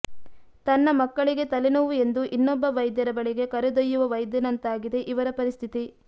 ತನ್ನ ಮಕ್ಕಳಿಗೆ ತಲೆನೋವು ಎಂದು ಇನ್ನೊಬ್ಬ ವೈದ್ಯರ ಬಳಿಗೆ ಕರೆದೊಯ್ಯುವ ವೈದ್ಯನಂತಾಗಿದೆ ಇವರ ಪರಿಸ್ಥಿತಿ